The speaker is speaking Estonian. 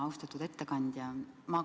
Austatud ettekandja!